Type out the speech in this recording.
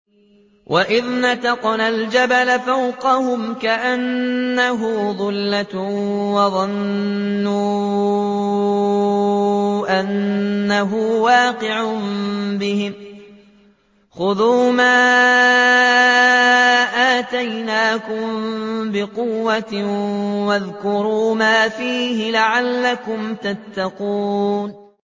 ۞ وَإِذْ نَتَقْنَا الْجَبَلَ فَوْقَهُمْ كَأَنَّهُ ظُلَّةٌ وَظَنُّوا أَنَّهُ وَاقِعٌ بِهِمْ خُذُوا مَا آتَيْنَاكُم بِقُوَّةٍ وَاذْكُرُوا مَا فِيهِ لَعَلَّكُمْ تَتَّقُونَ